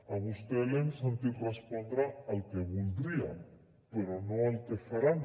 a vostè l’hem sentit respondre el que voldria però no el que faran